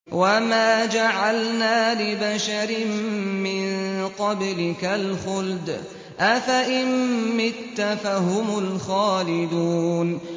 وَمَا جَعَلْنَا لِبَشَرٍ مِّن قَبْلِكَ الْخُلْدَ ۖ أَفَإِن مِّتَّ فَهُمُ الْخَالِدُونَ